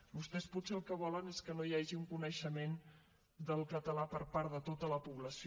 vostès potser el que volen és que no hi hagi un coneixement del català per part de tota la població